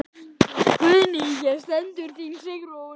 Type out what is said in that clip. Guðný: Hér stendur þín Sigrún?